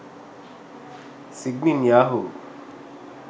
signin yahoo